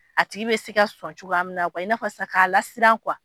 A tigi be se ka sɔn cogoya min na . I n'a fɔ san ka lasiran